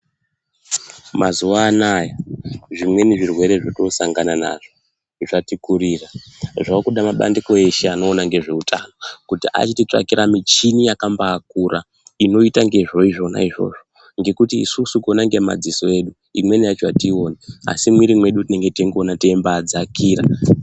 Mazuva anaya zvimweni zvirwere zvotosangana nazvo zvatikurira zvakuda mabandiko eshe anoona ngezveutano kuti atitsvakire michini yakabakura inoita ngezveizvona izvozvo ngekuti isusu kuona ngemaziso edu imweni yacho atiioni asi mumwiri mwedu tinenge teingoona teibadzikira .